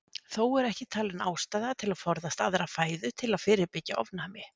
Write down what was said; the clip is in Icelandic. Þó er ekki talin ástæða til að forðast aðra fæðu til að fyrirbyggja ofnæmi.